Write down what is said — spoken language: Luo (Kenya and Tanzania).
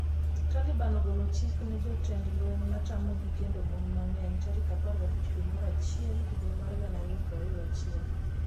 Taliban ogolo chik ne jotend lweny matamogi kendo mon mang'eny tarik 15 dwe mar achiel higa mar 2021